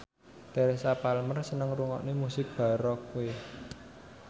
Teresa Palmer seneng ngrungokne musik baroque